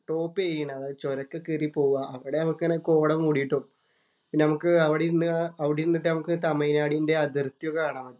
Top ചെയ്യുന്നേ. അതായത് ചൊരോക്കെ കേറി പോവുക. അവിടെ അങ്ങനെ കോട മൂടിട്ടു പിന്നെ നമുക്ക് അവിടെ ഇരുന്നിട്ട് അവിടെ ഇരുന്നിട്ട് തമിഴ് നാടിന്‍റെ അതിർത്തി ഒക്കെ കാണാൻ പറ്റും.